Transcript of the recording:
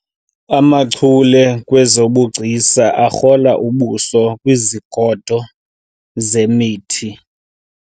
amachule kwezobugcisa akrola ubuso kwizigodo zemithi